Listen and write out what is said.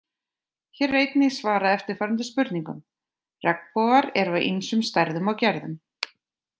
Hér er einnig svarað eftirfarandi spurningum: Regnbogar eru af ýmsum stærðum og gerðum.